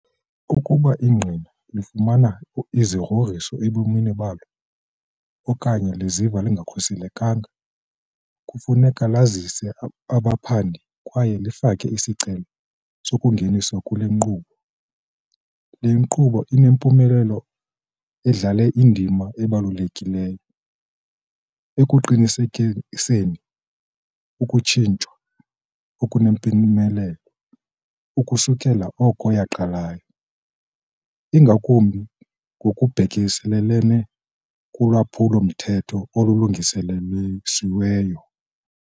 Ukuba ingqina lifumana izigrogriso ebomini balo okanye liziva lingakhuselekanga, kufuneka lazise abaphandi kwaye lifake isicelo sokungeniswa kule nkqubo. Le nkqubo inempumelelo idlale indima ebalulekileyo ekuqinisekiseni ukutshutshiswa okunempumelelo ukusukela oko yaqalayo, ingakumbi ngokubhekiselele kulwaphulo-mthetho olulungiselelweyo siweyo.